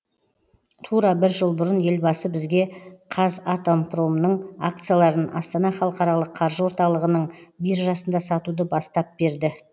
тура бір жыл бұрын елбасы бізге қазатомпромның акцияларын астана халықаралық қаржы орталығының биржасында сатуды бастап берді